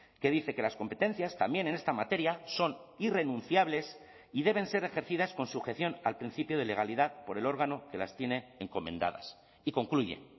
que dice que las competencias también en esta materia son irrenunciables y deben ser ejercidas con sujeción al principio de legalidad por el órgano que las tiene encomendadas y concluye